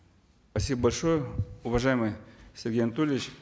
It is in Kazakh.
спасибо большое уважаемый сергей анатольевич